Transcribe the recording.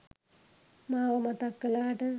මාව මතක් කලාට